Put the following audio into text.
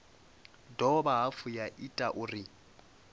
dovha hafhu ya ita uri